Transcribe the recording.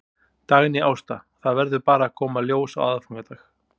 Dagný Ásta: Það verður bara að koma í ljós á aðfangadag?